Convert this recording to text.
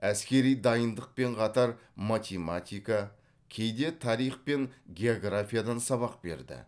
әскери дайындықпен қатар математика кейде тарих пен географиядан сабақ берді